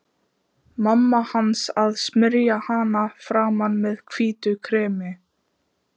Mamma hans að smyrja hana í framan með hvítu kremi.